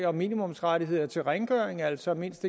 om minimumsrettigheder til rengøring altså mindst